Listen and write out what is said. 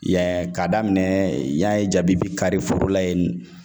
Yan ka daminɛ yan ye jabibi kari foro la yen